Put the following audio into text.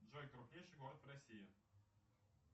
джой крупнейший город в россии